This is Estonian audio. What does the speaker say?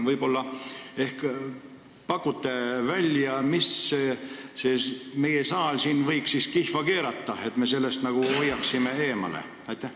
Võib-olla pakute välja, mida siis meie saal siin võiks kihva keerata, et me hoiaksime sellest eemale.